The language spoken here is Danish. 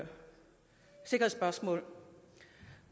noget